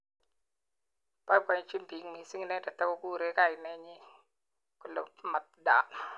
Boibojin bik mising inendet ak kokurei kainet nyi kole Mat Dan.